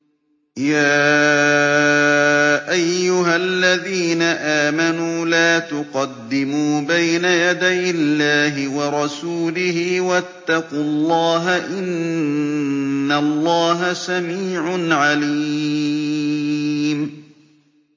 يَا أَيُّهَا الَّذِينَ آمَنُوا لَا تُقَدِّمُوا بَيْنَ يَدَيِ اللَّهِ وَرَسُولِهِ ۖ وَاتَّقُوا اللَّهَ ۚ إِنَّ اللَّهَ سَمِيعٌ عَلِيمٌ